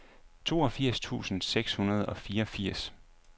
toogfirs tusind seks hundrede og fireogfirs